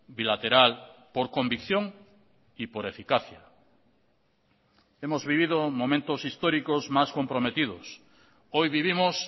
bilateral por convicción y por eficacia hemos vivido momentos históricos más comprometidos hoy vivimos